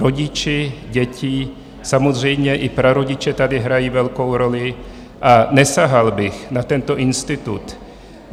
Rodiče, děti, samozřejmě i prarodiče tady hrají velkou roli a nesahal bych na tento institut.